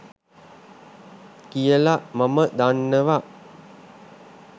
කියල මම දන්නවා.